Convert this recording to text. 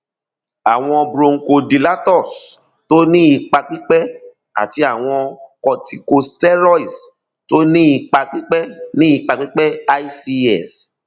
àwọn bronchodilators tó ní ipa pípẹ àti àwọn corticosteroids tó ní ipa pípẹ ní ipa pípẹ ics